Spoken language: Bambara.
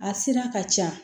A sira ka ca